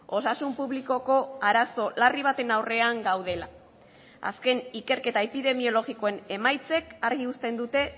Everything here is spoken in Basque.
osasun publikoko arazo larri baten aurrean gaudela azken ikerketa epidemiologikoen emaitzek argi uzten dute